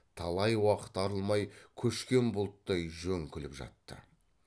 талай уақыт арылмай көшкен бұлттай жөңкіліп жатты